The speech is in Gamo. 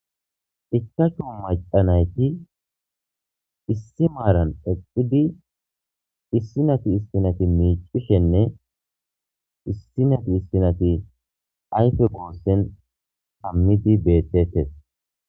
Ichachu macanayti issi maaran espidi issinati istinati miicishenne issinati issinati ayfe goossen ammidi beettettes.